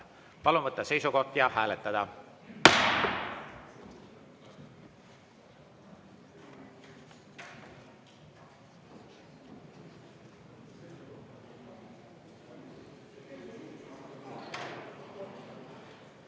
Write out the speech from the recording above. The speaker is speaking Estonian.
Palun võtta seisukoht ja hääletada!